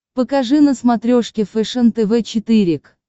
покажи на смотрешке фэшен тв четыре к